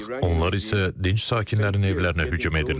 Onlar isə dinc sakinlərin evlərinə hücum edirlər.